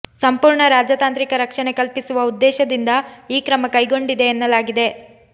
ಸಂಪೂರ್ಣ ರಾಜತಾಂತ್ರಿಕ ರಕ್ಷಣೆ ಕಲ್ಪಿಸುವ ಉದ್ದೇಶದಿಂದ ಈ ಕ್ರಮ ಕೈಗೊಂಡಿದೆ ಎನ್ನಲಾಗಿದೆ